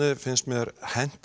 finnst mér henta